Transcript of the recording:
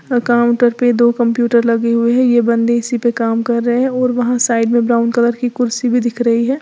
अ counter पे दो computer लगे हुए हैं यह बंदे इसी पर काम कर रहे हैं और वहां साइड में ब्राउन कलर की कुर्सी भी दिख रही है।